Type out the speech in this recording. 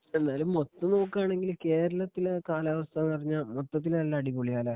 എന്നാലും മൊത്തം നോക്കുകയാണെങ്കിൽ കേരളത്തിലെ കാലാവസ്ഥ എന്ന് പറഞ്ഞാൽ മൊത്തത്തില് നല്ല അടിപൊളിയാ അല്ലേ?